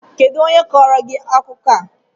Kedụ onye kọọrọ gị akụkọ a?